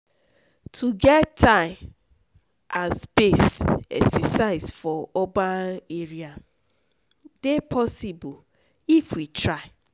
to get time and space exercise for urban area dey possible if we try.